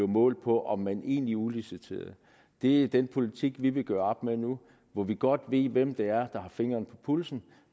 målt på om man egentlig udliciterede det er den politik vi vil gøre op med nu hvor vi godt ved hvem det er der har fingeren på pulsen